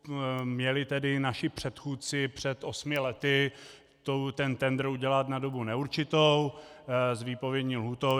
Měli tedy naši předchůdci před osmi lety ten tendr udělat na dobu neurčitou s výpovědní lhůtou.